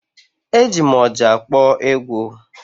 E ji m ọjà akpọ egwu